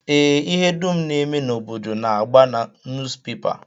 Ee, ihe dum na-eme n'obodo na-agba na nuuzpepa